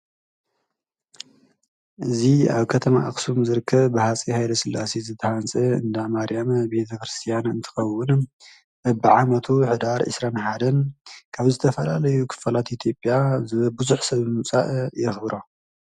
እዚ ኣብ ከተማ ኣክሱም ዝርከብ ብሃፄ ሃይለስላሴ ዝተሃንፀ እንዳማርያም ቤተክርስትያን እንትኸውን በቢ ዓመቱ ሕዳር ዒስራን ሓደን ካብ ዝተፈላለዩ ክፋላት ኢትዮጵያ ብዙሕ ሰብ ብምምፃእ የክብሮ።